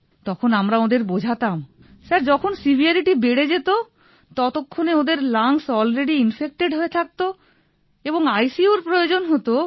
তখন আমরা ওঁদের বোঝাতাম স্যার যখন সেভারিটি বেড়ে যেত ততক্ষনে ওঁদের লাংস অ্যালরেডি ইনফেক্টেড হয়ে থাকতো এবং আইসিইউ এর প্রয়োজন হতো